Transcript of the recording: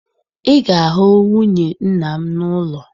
Ị ga-ahụ nwunye nna m n'ụlọ